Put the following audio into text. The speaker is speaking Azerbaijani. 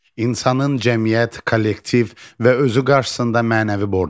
İnsanın cəmiyyət, kollektiv və özü qarşısında mənəvi borcu vardır.